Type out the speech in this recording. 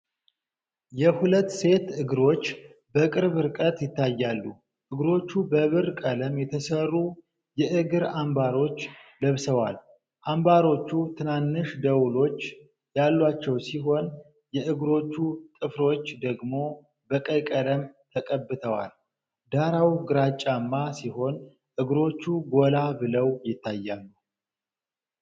የሁለት ሴት እግሮች በቅርብ ርቀት ይታያሉ። እግሮቹ በብር ቀለም የተሠሩ የእግር አምባሮች ለብሰዋል። አምባሮቹ ትናንሽ ደወሎች ያሏቸው ሲሆን የእግሮቹ ጥፍሮች ደግሞ በቀይ ቀለም ተቀብተዋል። ዳራው ግራጫማ ሲሆን እግሮቹ ጎላ ብለው ይታያሉ።